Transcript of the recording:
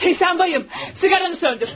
Hey sən bayım, siqaranı söndür.